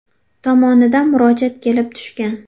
tomonidan murojaat kelib tushgan.